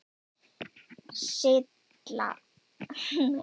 Silla, hvað er í dagatalinu í dag?